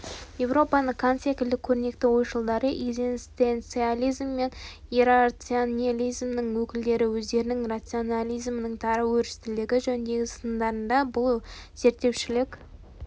еуропаның кант секілді көрнекті ойшылдары экзистенциализм мен иррационализмнің өкілдері өздерінің рационализмнің тар өрістілігі жөніндегі сындарында бұл зерттеушілік